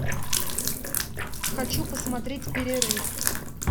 хочу посмотреть перерыв